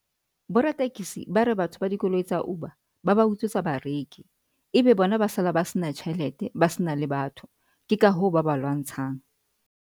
Boratekesi ba re batho ba dikoloi tsa Uber ba ba utswetsa bareki, ebe bona ba sala ba sena tjhelete ba se na le batho ke ka hoo ba ba lwantshang.